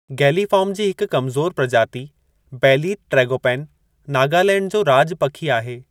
Galliform जी हिक कमज़ोर प्रजाति बेलीथ ट्रैगोपैन नागालैंड जो राॼ पखी आहे।